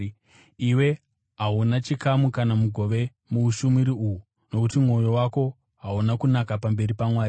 Iwe hauna chikamu kana mugove muushumiri uhu, nokuti mwoyo wako hauna kunaka pamberi paMwari.